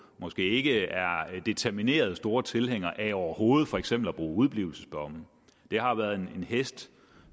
måske ikke er determinerede store tilhængere af overhovedet for eksempel at bruge udeblivelsesdomme det har været en hest